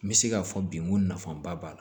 N bɛ se k'a fɔ bi n ko nafaba b'a la